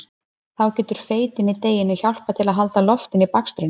Þá getur feitin í deiginu hjálpað til að halda loftinu í bakstrinum.